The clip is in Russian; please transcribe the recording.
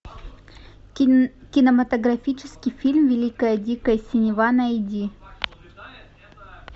кинематографический фильм великая дикая синева найди